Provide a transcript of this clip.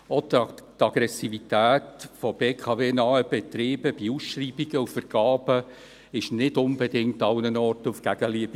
Auch die Aggressivität von BKW-nahen Betrieben bei Ausschreibungen und Vergaben stiess nicht unbedingt an allen Orten auf Gegenliebe.